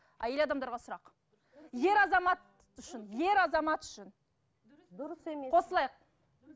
әйел адамдарға сұрақ ер азамат үшін ер азамат үшін қосылайық